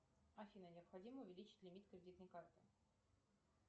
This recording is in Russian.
афина необходимо увеличить лимит кредитной карты